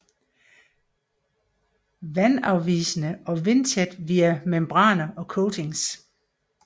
Vandafvisende og vindtæt via membraner og coatings